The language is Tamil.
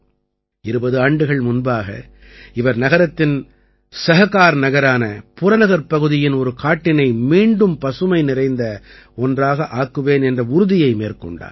20 ஆண்டுகள் முன்பாக இவர் நகரத்தின் சஹகார்நகரான புறநகர்ப்பகுதியின் ஒரு காட்டினை மீண்டும் பசுமை நிறைந்த ஒன்றாக ஆக்குவேன் என்ற உறுதியை மேற்கொண்டார்